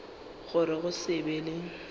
gore go se be le